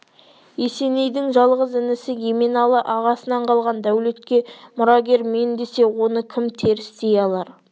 есенейдің жалғыз інісі еменалы ағасынан қалған дәулетке мұрагер мен десе оны кім теріс дей алар